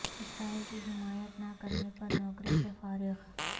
اسرائیل کی حمایت نہ کرنے پر نوکری سے فارغ